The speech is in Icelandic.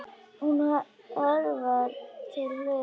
Hún hörfar til hliðar.